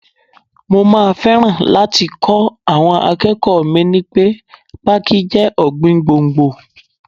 Mo máa fẹ́ràn láti kọ́ àwọn akẹ́kọ̀ọ́ mi ní pẹ́ Pákí jẹ́ ọ̀gbìn gbòǹgbò.